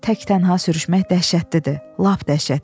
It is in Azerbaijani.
Tək-tənha sürüşmək dəhşətlidir, lap dəhşətlidir.